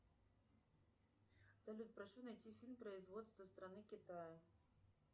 салют прошу найти фильм производства страны китая